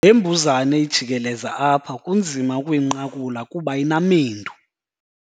Le mbuzane ijikeleza apha kunzima ukuyinqakula kuba inamendu.